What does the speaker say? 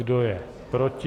Kdo je proti?